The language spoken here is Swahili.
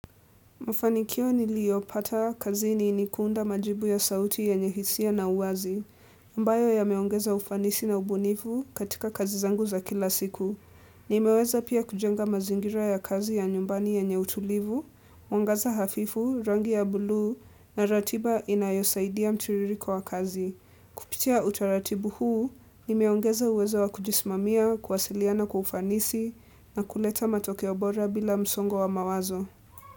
Mafanikio niliyopata kazi ni ni kuunda majibu ya sauti yenye hisia na uwazi, ambayo yameongeza ufanisi na ubunifu katika kazi zangu za kila siku. Nimeweza pia kujenga mazingira ya kazi ya nyumbani yenye utulivu, mwangaza hafifu, rangi ya buluu na ratiba inayosaidia mtiririko wa kazi. Pitia utaratibu huu, nimeongeza uwezo wa kujismamia, kuwasiliana kwa ufanisi na kuleta matokeo bora bila msongo wa mawazo.